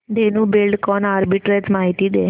Dhenu Buildcon arbitrage माहिती दे